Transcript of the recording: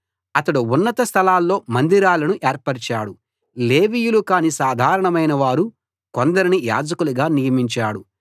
అతడు ఉన్నత స్థలాల్లో మందిరాలను ఏర్పరచాడు లేవీయులు కాని సాధారణమైన వారు కొందరిని యాజకులుగా నియమించాడు